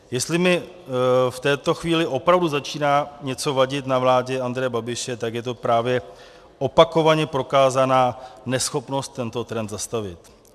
Jestli mi v této chvíli opravdu začíná něco vadit na vládě Andreje Babiše, tak je to právě opakovaně prokázaná neschopnost tento trend zastavit.